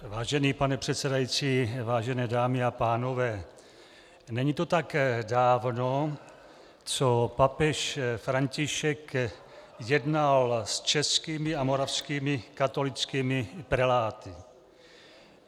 Vážený pane předsedající, vážené dámy a pánové, není to tak dávno, co papež František jednal s českými a moravskými katolickými preláty.